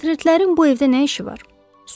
Portretlərin bu evdə nə işi var?